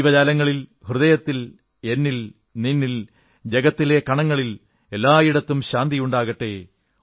ജീവജാലങ്ങളിൽ ഹൃദയത്തിൽ എന്നിൽ നിന്നിൽ ജഗത്തിലെ കണങ്ങളിൽ എല്ലായിടത്തും ശാന്തിയുണ്ടാകട്ടെ